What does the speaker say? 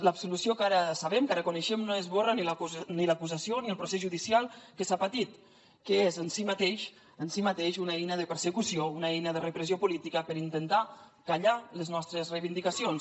l’absolució que ara sabem que ara coneixem no esborra ni l’acusació ni el procés judicial que s’ha patit que és en si mateix una eina de persecució una eina de repressió política per intentar callar les nostres reivindicacions